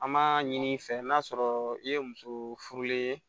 An m'a ɲini i fɛ n'a sɔrɔ i ye muso furulen ye